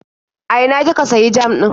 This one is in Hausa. A ina kika sayi jam ɗin?